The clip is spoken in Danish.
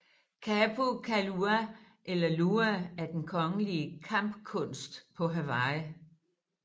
Kapu Kuialua eller lua er den kongelige kampkunst på Hawaii